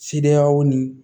Sidiyaw ni